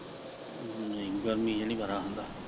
ਨਹੀਂ ਗਰਮੀ ਚ ਨੀ ਵਾਰਾ ਆਉਂਦਾ।